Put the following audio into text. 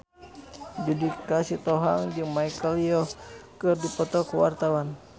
Judika Sitohang jeung Michelle Yeoh keur dipoto ku wartawan